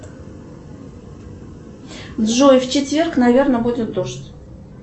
джой в четверг наверное будет дождь